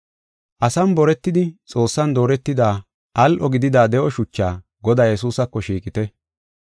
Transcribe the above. Asan boretidi Xoossan dooretida al7o gidida de7o shuchaa, Godaa Yesuusako shiiqite.